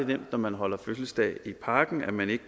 nemt når man holder fødselsdag i parken at man ikke